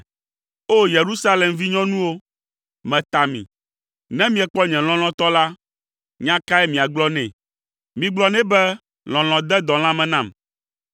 O Yerusalem vinyɔnuwo, meta mi; ne miekpɔ nye lɔlɔ̃tɔ la, nya kae miagblɔ nɛ? Migblɔ nɛ be lɔlɔ̃ de dɔ lãme nam.